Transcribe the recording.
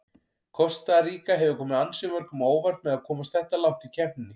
Kosta Ríka hefur komið ansi mörgum á óvart með að komast þetta langt í keppninni.